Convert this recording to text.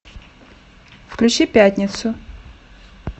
включи пятницу